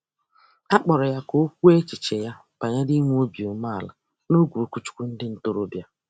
A kpọrọ ya ka o kwuo echiche ya banyere inwe obi umeala n'oge okwuchukwu ndị ntorobịa.